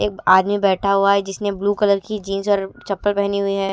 एक आदमी बैठा हुआ है जिसने ब्लू कलर की जींस और चप्पल पहनी हुई है।